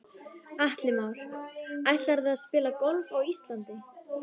Atli Már: Ætlarðu að spila golf á Íslandi?